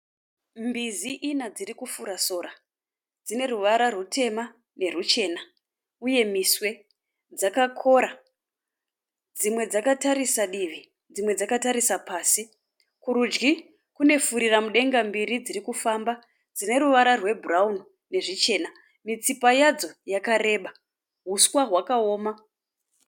Mbizi ina dzirikufura sora. Dzineruvara rutema neruchena uye miswe dzakakora. Dzimwe dzakatarisa divi dzimwe dzakatarisa pasi. Kurudyi kune furiramudenga mbiri dzirikufamba dzineruvara rwebhurauni nezvichena. Mitsipa yadzo yakareba. Huswa hwakaoma.